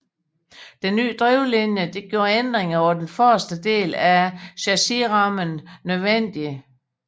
Den nye drivlinje gjorde ændringer på den forreste del af chassisrammen nødvendige